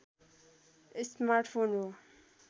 smart phone हो